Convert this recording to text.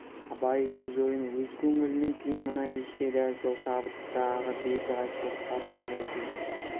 абай өз ойын өз көңілінің күйін мына кеште дәл сол шабыттағы беті қайтпас қаршығадай сезді